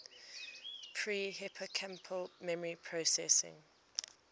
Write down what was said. pre hippocampal memory processing